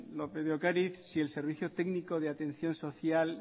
lópez de ocariz si el servicio técnico de atención social